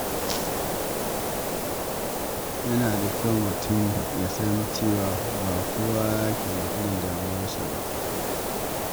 Yana da kyau mutum ya san cewa ba kowa ke da irin damuwarsa ba.